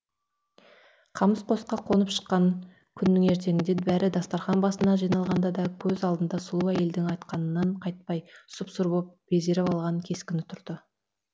қамыс қосқа қонып шыққан күннің ертеңіне бәрі дастархан басына жиналғанда да көз алдында сұлу әйелдің айтқанынан қайтпай сұп сұр боп безеріп алған кескіні тұрды